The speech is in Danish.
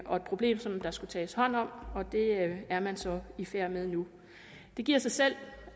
og et problem som der skulle tages hånd om og det er man så i færd med nu det giver sig selv